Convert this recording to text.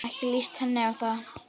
Ekki líst henni á það.